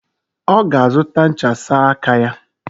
Oga azuta ncha sa aka ya.